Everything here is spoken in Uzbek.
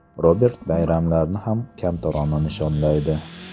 Robert bayramlarni ham kamtarona nishonlaydi.